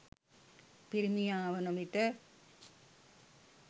පිරිමියා වන විට